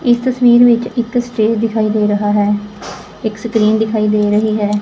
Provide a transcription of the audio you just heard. ਇਸ ਤਸਵੀਰ ਵਿੱਚ ਇੱਕ ਸਟੇਜ ਦਿਖਾਈ ਦੇ ਰਹਾ ਹੈ ਇੱਕ ਸਕਰੀਨ ਦਿਖਾਈ ਦੇ ਰਹੀ ਹੈ।